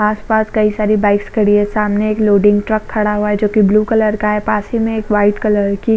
आस पास कई सारी बाइक्स खड़ी है सामने एक लोडिंग ट्रक खड़ा है जो की ब्लू कलर का है पास ही में एक वाइट कलर की--